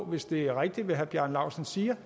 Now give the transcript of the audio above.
hvis det er rigtigt hvad herre bjarne laustsen siger